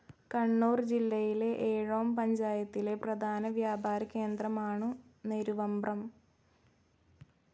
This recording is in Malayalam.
കണ്ണൂർ ജില്ലയിലെ ഏഴോം പഞ്ചായത്തിലെ പ്രധാന വ്യാപാര കേന്ദ്രമാണു് നെരുവമ്പ്രം.